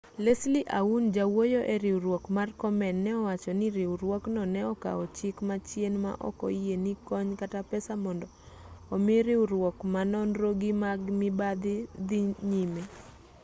leslie aun jawuoyo eriwruok mar komen ne owacho ni riwruokno ne okawo chik machien ma ok oyie ni kony kata pesa mondo omi riwruok ma nonro gi mag mibadhi dhii nyime